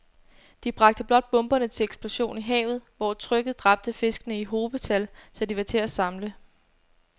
De bragte blot bomberne til eksplosion i havet, hvor trykket dræbte fiskene i hobetal, så de var til at samle